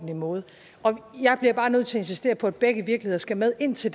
måde jeg bliver bare nødt til at insistere på at begge virkeligheder skal med ind til